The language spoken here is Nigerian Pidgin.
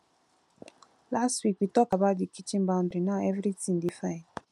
last week we tok about di kitchen boundary now everytin dey fine